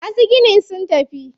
Masu ginin sun tafi.